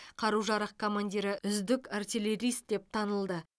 қару жарақ командирі үздік артиллерист деп танылды